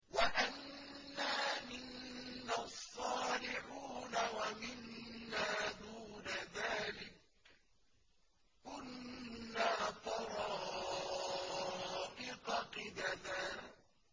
وَأَنَّا مِنَّا الصَّالِحُونَ وَمِنَّا دُونَ ذَٰلِكَ ۖ كُنَّا طَرَائِقَ قِدَدًا